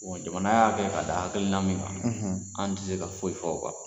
jamana y'a kɛ ka da hakilina min kan an tɛ se ka foyi fɔ o kan.